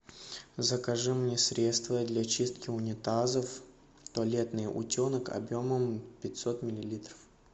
закажи мне средство для чистки унитазов туалетный утенок объемом пятьсот миллилитров